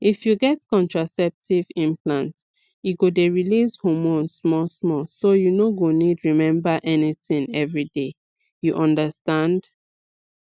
if you get contraceptive implant e go dey release hormone smallsmall so you no go need remember anything every day you understand